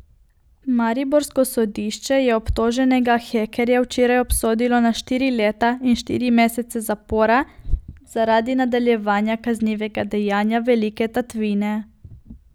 Mariborsko sodišče je obtoženega hekerja včeraj obsodilo na štiri leta in štiri mesece zapora zaradi nadaljevanega kaznivega dejanja velike tatvine.